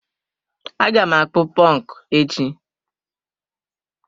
Aga m akpụ ponku echi.